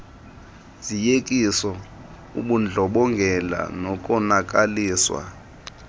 zoyikiso ubundlobongela nokonakaliswa